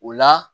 O la